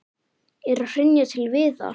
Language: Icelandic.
Er að hrynja til viðar.